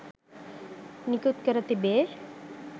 නිකුත් කර තිබේ.